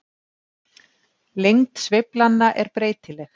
Lengd sveiflanna er breytileg.